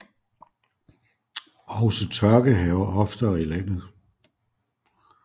Også tørke hærger oftere i landet